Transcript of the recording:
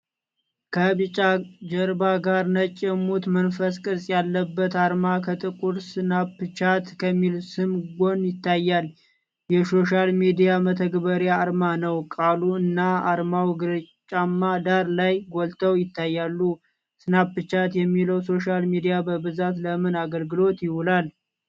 ከቢጫ ጀርባ ጋር ነጭ የሙት መንፈስ ቅርጽ ያለበት አርማ ከጥቁር 'ስናፕቻት' ከሚል ስም ጎን ይታያል። የሶሻል ሚዲያ መተግበሪያ አርማ ነው። ቃሉ እና አርማው ግራጫማ ዳራ ላይ ጎልተው ይታያሉ። ስናፕቻት የሚለው ሶሻል ሚዲያ በብዛት ለምን አገልግሎት ይውላል?